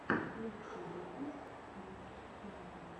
лучший выпуск клик клака